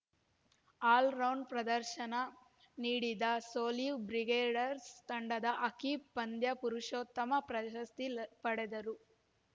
all round ಪ್ರದರ್ಶನ ನೀಡಿದ Solih Brigaders ತಂಡದ ಅಕೀಬ್‌ ಪಂದ್ಯ ಪುರುಷೋತ್ತಮ ಪ್ರಶಸ್ತಿ ಪಡೆದರು